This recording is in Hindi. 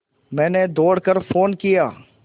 मैंने दौड़ कर फ़ोन किया